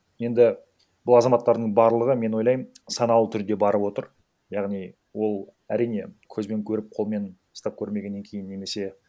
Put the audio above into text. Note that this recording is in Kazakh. енді ол азаматтардың барлығы мен ойлаймын саналы түрде барып отыр яғни ол әрине көзбен көріп қолмен ұстап көрмегеннен кейін немесе